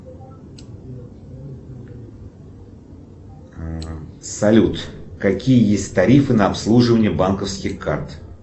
салют какие есть тарифы на обслуживание банковских карт